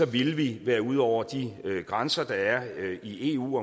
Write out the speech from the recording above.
ville vi være ude over de grænser der er i eu